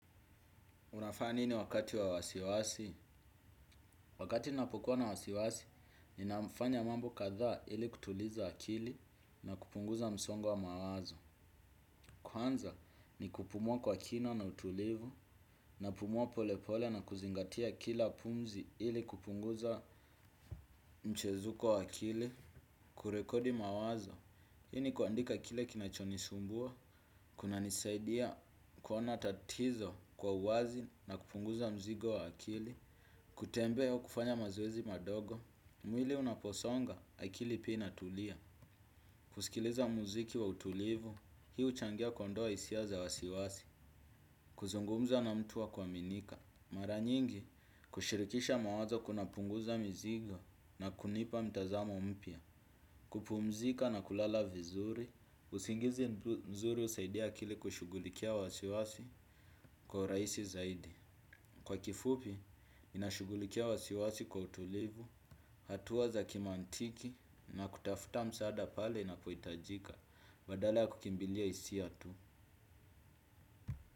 Unafanya nini wakati wa wasiwasi? Wakati ninapokuwa na wasiwasi, ninafanya mambo kadhaa ili kutuliza akili na kupunguza msongo wa mawazo. Kwanza, ni kupumua kwa kina na utulivu, napumua polepole na kuzingatia kila pumzi ili kupunguza mchezuko wa akili. Kurekodi mawazo, hii ni kuandika kile kinachonisumbua, kunanisaidia kuona tatizo kwa uwazi na kupunguza mzigo wa akili. Kutembea au kufanya mazoezi madogo, mwili unaposonga akili pia inatulia. Kusikiliza muziki wa utulivu, hii huchangia kuondoa hisia za wasiwasi. Kuzungumza na mtu wa kuaminika. Mara nyingi, kushirikisha mawazo kunapunguza mizigo na kunipa mtazamo mpya. Kupumzika na kulala vizuri, usingizi mzuri husaidia akili kushughulikia wasiwasi kwa urahisi zaidi. Kwa kifupi, inashughulikia wasiwasi kwa utulivu, hatua za kimantiki na kutafuta msaada pale inapohitajika, badala kukimbilia hisia tu.